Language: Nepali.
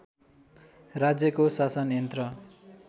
राज्यको शासन यन्त्र